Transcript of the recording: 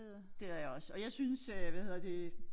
Det har jeg også og jeg synes øh hvad hedder det